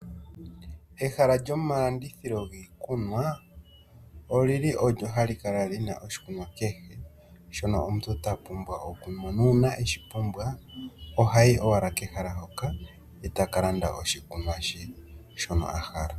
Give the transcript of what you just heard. Ehala lyomalandithilo giikunwa oli li olyo hali kala li na oshikunwa kehe shono omuntu ta pumbwa okunwa, nuuna eshi pumbwa ohayi owala kehala hoka, e ta ka landa oshikunwa she shono a hala.